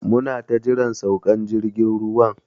Muna ta jiran saukan jirgin ruwan.